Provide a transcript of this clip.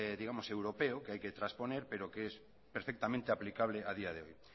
digamos europeo que hay que trasponer pero que es perfectamente aplicable a día de hoy